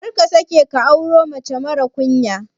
Karka sake ka auro mace marar ƙunya.